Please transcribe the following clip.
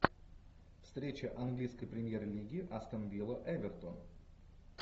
встреча английской премьер лиги астон вилла эвертон